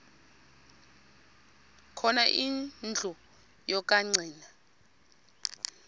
khona indlu yokagcina